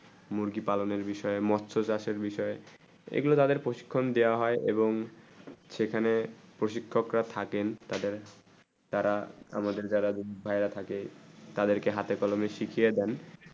মুরগি পালনে বিষয়ে মৎস চাষে বিষয়ে এই গুলু তাদের প্রশিক্ষণ দিয়া হয়ে এবং সেখানে প্রশিক্ষক রা থাকেন তাদের তারা আমাদের যারা তাদের কে হাথে কলমে শিকিয়ে দেন